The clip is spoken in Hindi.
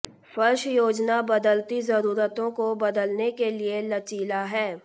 फर्श योजना बदलती जरूरतों को बदलने के लिए लचीला है